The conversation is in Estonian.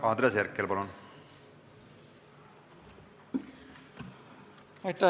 Andres Herkel, palun!